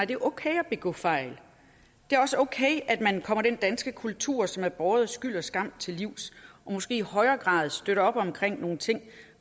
det er okay at begå fejl det er også okay at man kommer den danske kultur som er båret af skyld og skam til livs og måske i højere grad støtter op om nogle ting